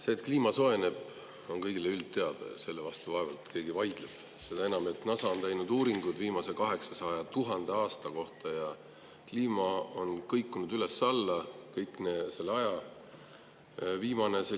See, et kliima soojeneb, on kõigile teada ja selle vastu vaevalt, et keegi vaidleb, seda enam, et NASA on teinud uuringud viimase 800 000 aasta kohta ja see on kogu selle aja kõikunud üles-alla.